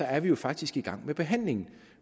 er vi faktisk i gang med behandlingen